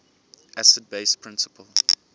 acid base principle